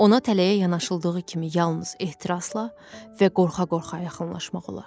Ona tələyə yanaşıldığı kimi yalnız ehtirasla və qorxa-qorxa yaxınlaşmaq olar.